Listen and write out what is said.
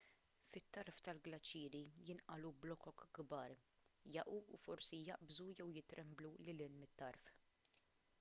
fit-tarf tal-glaċieri jinqalgħu blokok kbar jaqgħu u forsi jaqbżu jew jitremblu lil hinn mit-tarf